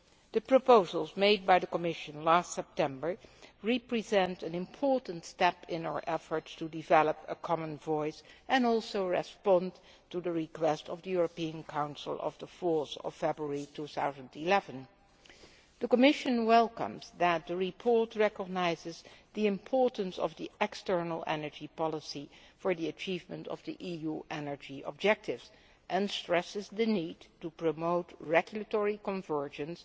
The proposals made by the Commission last September represent an important step in our efforts to develop a common voice and also respond to the request of the European Council of 4 February 2011. The Commission welcomes the fact that the report recognises the importance of the external energy policy for the achievement of the EU energy objectives and stresses the need to promote regulatory convergence,